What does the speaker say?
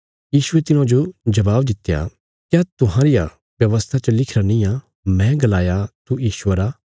यीशुये तिन्हाजो जबाब दित्या क्या तुहांरिया व्यवस्था च लिखिरा निआं मैं गलाया तू ईश्वर आ